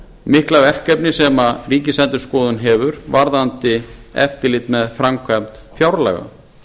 mikla verkefni sem ríkisendurskoðun hefur varðandi eftirlit með framkvæmd fjárlaga